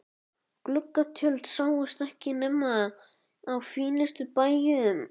Gluggatjöld sáust ekki nema á fínustu bæjum.